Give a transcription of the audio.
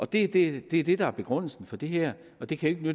det det er det der er begrundelsen for det her det kan jo